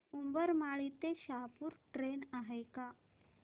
उंबरमाळी ते शहापूर ट्रेन आहे का